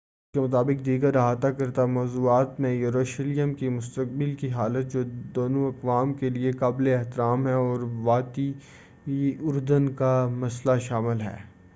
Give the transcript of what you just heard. خبر کے مطابق دیگر احاطہ کردہ موضوعات میں یروشلم کی مستقبل کی حالت جو دونوں اقوام کے لیے قابل احترام ہے اور وادی اردن کا مسئلہ شامل ہے